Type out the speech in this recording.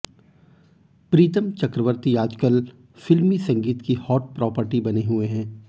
प्रीतम चक्रवर्ती आजकल फिल्मी संगीत की हॉट प्रॉपर्टी बने हुए हैं